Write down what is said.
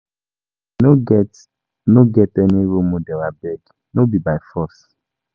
I no get no get any role model abeg no be by force